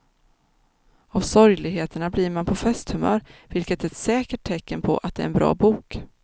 Av sorgligheterna blir man på festhumör, vilket är ett säkert tecken på att det är en bra bok.